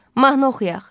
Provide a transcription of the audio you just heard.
Mahnı oxuyaq.